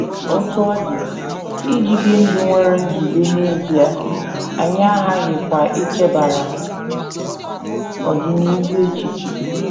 Otú ọ dị, iji bie ndụ nwere nzube n’ezie, anyị aghaghịkwa ichebara ọdịnihu echiche.